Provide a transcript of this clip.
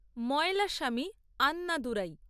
Mylswamy Annadurai